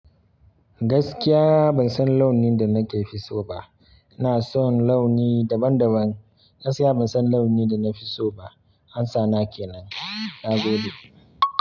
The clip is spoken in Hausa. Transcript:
Gaskiya ban san launin da nake fi so ba. Ina son launi daban daban. Gaskiya ban san launi da na fi so ba. Amsa na kenan, na gode.